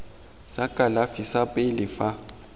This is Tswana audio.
sa kalafi sa pele fa